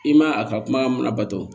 I man a ka kuma mun labato